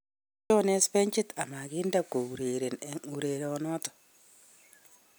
Kotebee jones benchit a makiinde ko ureren eng urerienoto